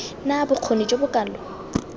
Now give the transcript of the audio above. na bokgoni jo bo kalo